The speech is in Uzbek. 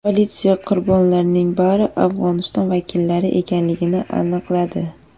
Politsiya qurbonlarning bari Afg‘oniston vakillari ekanligini aniqladi.